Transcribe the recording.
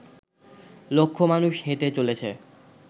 লক্ষ মানুষ হেঁটে চলেছে